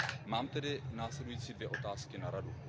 Mám tedy následující dvě otázky na Radu.